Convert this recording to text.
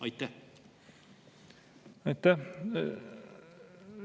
Aitäh!